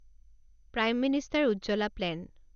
prime minister Ujjwala plan